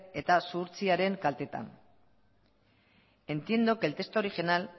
eta zuhurtziaren kaltetan entiendo que el texto original